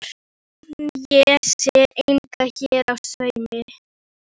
En ég sé enga hér á sveimi.